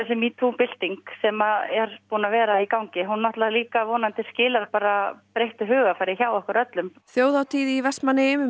metoo bylting sem er búin að vera í gangi hún vonandi skilar bara breyttu hugarfari hjá okkur öllum þjóðhátíð í Vestmannaeyjum um